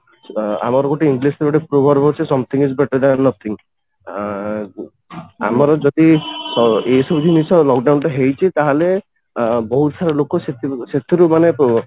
ଅଂ ଆମର ଗୋଟେ English ରେ ଗୋଟେ proverb ଅଛି something is better than nothing ଆଃ ଆମର ଯଦି ଏଇ ସବୁ ଜିନିଷ lock down ଟା ହେଇଛି ତାହେଲେ ବହୁତ ସାରା ଲୋକ ସେଥିରେ ସେଥିରୁ ମାନେ